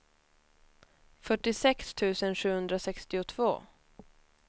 fyrtiosex tusen sjuhundrasextiotvå